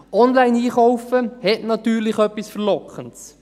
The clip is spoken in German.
Online einkaufen hat natürlich etwas Verlockendes.